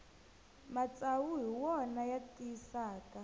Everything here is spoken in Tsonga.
matsavu hi wona ya tiyisaka